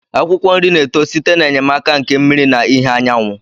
Akwụkwọ nri na-eto site n'enyemaka nke mmiri na ìhè anyanwụ